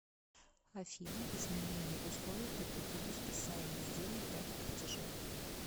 афина изменение условий по кредиту списанию денег дате платежа